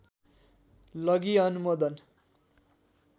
लगी अनुमोदन